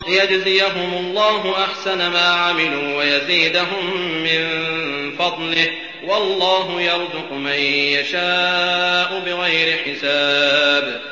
لِيَجْزِيَهُمُ اللَّهُ أَحْسَنَ مَا عَمِلُوا وَيَزِيدَهُم مِّن فَضْلِهِ ۗ وَاللَّهُ يَرْزُقُ مَن يَشَاءُ بِغَيْرِ حِسَابٍ